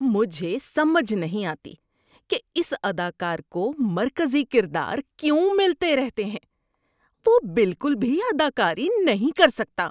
مجھے سمجھ نہیں آتی کہ اس اداکار کو مرکزی کردار کیوں ملتے رہتے ہیں۔ وہ بالکل بھی اداکاری نہیں کر سکتا۔